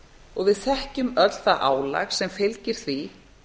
og við þekkjum öll það álag sem fylgir því